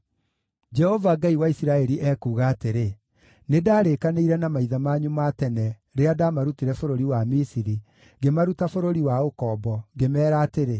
“Jehova, Ngai wa Isiraeli, ekuuga atĩrĩ: Nĩndarĩkanĩire na maithe manyu ma tene rĩrĩa ndamarutire bũrũri wa Misiri, ngĩmaruta bũrũri wa ũkombo, ngĩmeera atĩrĩ,